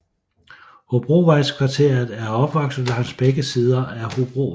Hobrovejskvarteret er opvokset langs begge sider af Hobrovej